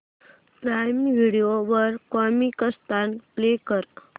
prime Video वर Comicstaan play कर